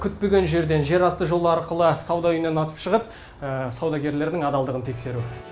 күтпеген жерден жерасты жолы арқылы сауда үйінен атып шығып саудагерлердің адалдығын тексеру